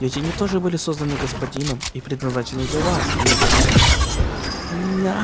ведь они тоже были созданы господином и предназначены для вас а не для меня меня